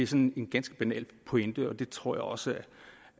sådan en ganske banal pointe og det tror jeg også